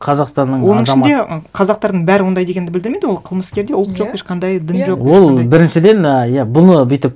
қазақстанның азаматы оның ішінде қазақтардың бәрі ондай дегенді білдірмейді ол қылмыскерде ұлт жоқ иә ешқандай дін жоқ иә ол біріншіден ы иә бұны бүйтіп